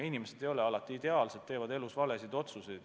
Inimesed ei ole alati ideaalsed, nad teevad elus valesid otsuseid.